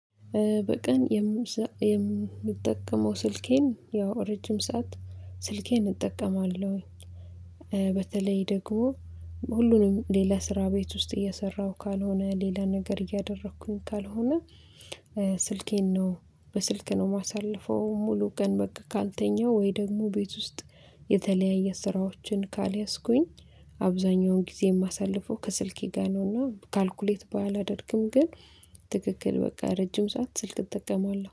በቀን የምሰ የምንጠቀመው ስልኬን ያው ረጅም ሰዓት ስልኬን እጠቀማለሁ። በተለይ ደግሞ፣ ሁሉንም ሌላ ስራ ቤት ውስጥ እየሰራሁ ካልሆነ፣ ሌላ ነገር እያደረኩኝ ካልሆነ፣ ስልኬን ነው በስልክ ነው የማሳልፈው ሙሉ ቀን በቃ ካንተኛው ወይ ደግሞ ቤት ውስጥ የተለያየ ስራዎችን ካልያዝኩኝ አብዛኛውን ጊዜ የማሳልፈው ከስልኬ ጋር ነውና ካልኩሌት በላደርግም ግን ትክክል በቃ ረጅም ሰዓት ስልክ እጠቀማለሁ።